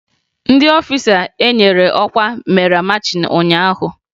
Ndị ọfisha enyere ọkwa mere machịn ụnyaahụ